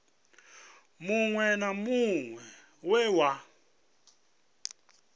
muṅwe na muṅwe we wa